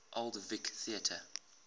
old vic theatre